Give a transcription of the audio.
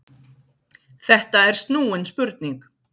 Þetta er snúin spurning.